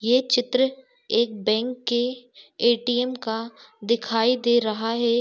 यह चित्र एक बेंक के ऐ.टी.एम. का दिखाई दे रहा है।